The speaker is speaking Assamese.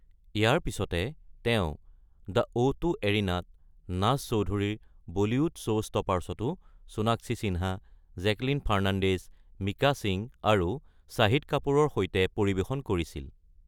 ইয়াৰ পিছতে তেওঁ দ্য অ’ ২ এৰিনাত নাজ চৌধুৰীৰ বলীউড শ্ব’ষ্টপাৰ্ছতো সোণাক্ষী সিন্হা, জেকলিন ফাৰ্নাণ্ডেজ, মিকা সিং আৰু শ্বাহিদ কাপুৰৰ সৈতে পৰিৱেশন কৰিছিল।